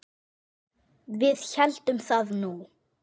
Við héldum það nú.